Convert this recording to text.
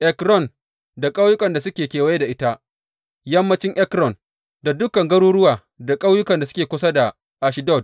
Ekron da ƙauyukan da suke kewaye da ita; yammancin Ekron da dukan garuruwa da ƙauyukan da suke kusa da Ashdod.